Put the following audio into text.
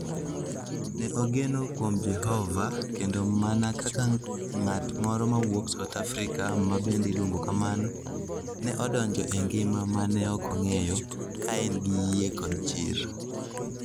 Ne ogeno kuom Jehova, kendo mana kaka ng'at moro mawuok South Africa ma bende iluongo kamano, ne odonjo e ngima ma ne ok ong'eyo, ka en gi yie kod chir.